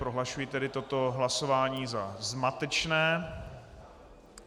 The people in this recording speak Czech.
Prohlašuji tedy toto hlasování za zmatečné.